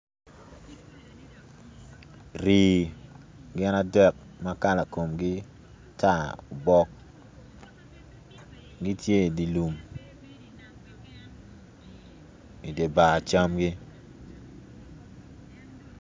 Rii gin adek ma kala komgi tar bok gitye idi lum idibar camgi.